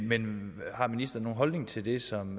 men har ministeren nogen holdning til det som